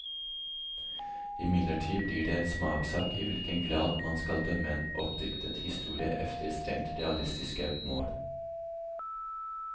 Imidlertid blir det en smakssak i hvilken grad man skal dømme en oppdiktet historie efter strengt realistiske mål.